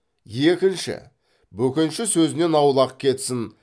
екінші бөкенші сөзінен аулақ кетсін